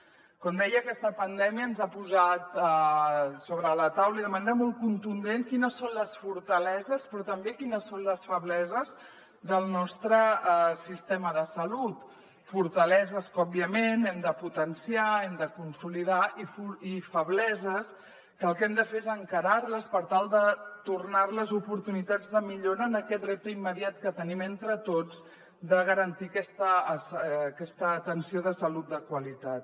com deia aquesta pandèmia ens ha posat sobre la taula i de manera molt contundent quines són les fortaleses però també quines són les febleses del nostre sistema de salut fortaleses que òbviament hem de potenciar hem de consolidar i febleses que el que hem de fer és encarar les per tal de tornar les oportunitats de millora en aquest repte immediat que tenim entre tots de garantir aquesta atenció de salut de qualitat